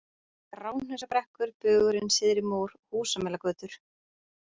Gráhnausabrekkur, Bugurinn, Syðri-Mór, Húsamelagötur